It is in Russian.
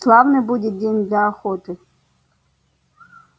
славный будет день для охоты